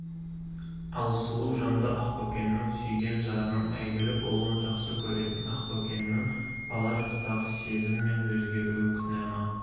ал сұлу жанды ақбөкеннің сүйген жарының әйгілі болуын жақсы көретін ақбөкеннің бала жастағы сезімнен өзгеруі күнә ма